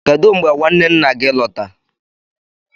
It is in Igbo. kedu mgbe nwanne nna gị lọta?